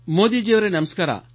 ಮೋದಿ ಜಿ ಅವರೆ ನಮಸ್ಕಾರ